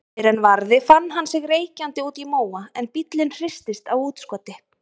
Fyrr en varði fann hann sig reykjandi úti í móa en bíllinn hristist á útskoti.